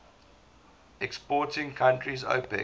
exporting countries opec